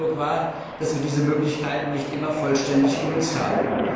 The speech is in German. Mein Eindruck war, dass wir diese Möglichkeiten nicht immer vollständig genutzt haben.